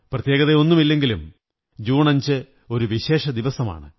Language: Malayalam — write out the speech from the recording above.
പ്രത്യേകതയൊന്നുമില്ലെങ്കിലും ജൂൺ 5 ഒരു വിശേഷ ദിവസമാണ്